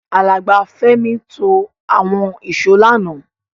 Alàgbà Fẹ́mi to àwon ìsó lánàá